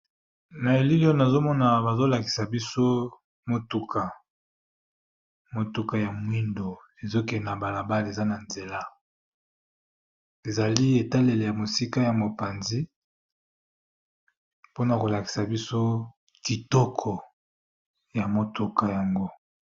Na elili oyo nazomona bazolakisa biso motuka, motuka ya mwindo ezokende na balabala eza na nzela ezali etalele ya mosika ya mopanzi mpona kolakisa biso kitoko ya motuka yango.